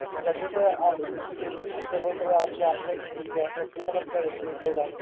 सगळे तर आपले selfish आहे. सर्व सर्व आपल्या आपल्या हिच्यात busy असतात तुला कसे भेटले देव जाणे.